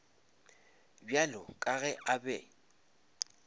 bjalo ka ge a be